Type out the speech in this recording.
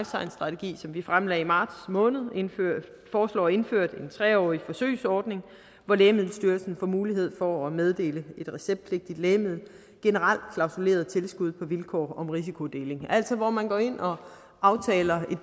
science strategi som vi fremlagde i marts måned foreslår indført en tre årig forsøgsordning hvor lægemiddelstyrelsen får mulighed for at meddele et receptpligtigt lægemiddel generelt klausuleret tilskud på vilkår om risikodeling altså hvor man går ind og aftaler